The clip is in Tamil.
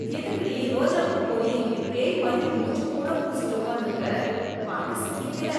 எதுக்குடி ரோஜா பூ பொடிய இப்படி பேய் மாதிரி மூஞ்சி பூரா பூசிட்டு உக்காந்திருக்க, பாக்க சகிக்கல.